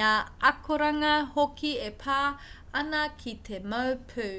ngā akoranga hoki e pā ana ki te mau pū